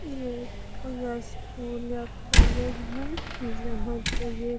ये कोई स्कूल या कॉलेज है जहाँ पे ये --